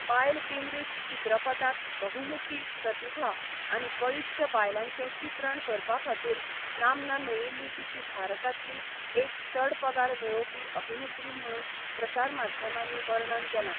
बायल केंद्रीत चित्रपटांत बहुमुखी प्रतिभा आनी बळिश्ट बायलांचें चित्रण करपा खातीर नामना मेळिल्ली तिची भारतांतली एक चड पगार मेळोवपी अभिनेत्री म्हणून प्रसार माध्यमांनी वर्णन केलां.